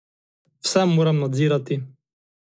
Vse moram nadzirati.